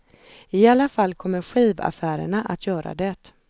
I alla fall kommer skivaffärerna att göra det.